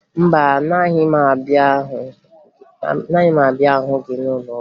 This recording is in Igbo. Mba, agaghị m abịa hụ gị n'ụlọọgwụ